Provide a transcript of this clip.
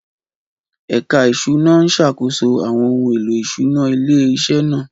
Ẹ̀ka Ìṣúná ń ṣàkóso àwọn ohun èlò ìṣúná ilé-iṣẹ́ náà.